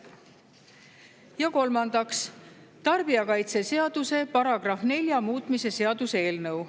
Ja kolmandaks, tarbijakaitseseaduse § 4 muutmise seaduse eelnõu.